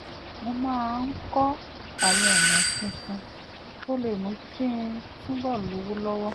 mo máa ń kọ́ àwọn ọ̀nà tuntun tó lè mú kí n túbọ̀ lówó lọ́wọ́